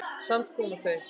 Samt komu þau.